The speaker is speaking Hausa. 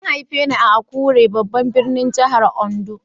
An haife ni a Akure babban birnin jihar Ondo.